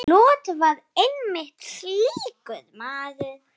Lot var einmitt slíkur maður.